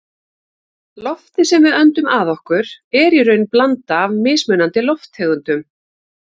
Loftið sem við öndum að okkur er í raun blanda af mismunandi lofttegundum.